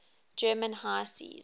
german high seas